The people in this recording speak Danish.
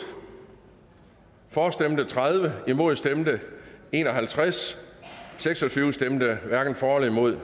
for stemte tredive imod stemte en og halvtreds hverken for eller imod